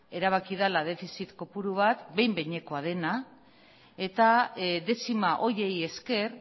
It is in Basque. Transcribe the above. erabaki dela defizit kopuru bat behin behinekoa dena eta dezima horiei esker